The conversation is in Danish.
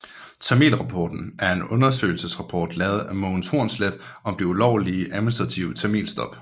Tamilrapporten er en undersøgelsesrapport lavet af Mogens Hornslet om det ulovlige og administrative tamilstop